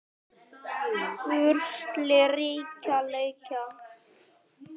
Úrslit allra leikja